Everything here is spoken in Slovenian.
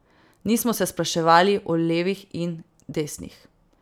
Nismo se spraševali o levih in desnih.